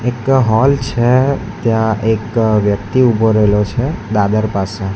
એક હોલ છે ત્યાં એક વ્યક્તિ ઊભો રહેલો છે દાદર પાસે.